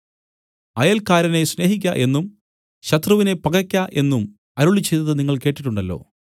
അയൽക്കാരനെ സ്നേഹിക്ക എന്നും ശത്രുവിനെ പകക്ക എന്നും അരുളിച്ചെയ്തത് നിങ്ങൾ കേട്ടിട്ടുണ്ടല്ലോ